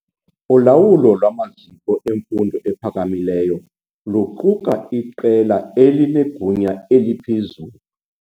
Ulawulo lwamaziko emfundo ephakamileyo luquka iqela elinegunya eliphezulu.